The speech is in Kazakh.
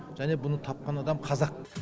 және бұны тапқан адам қазақ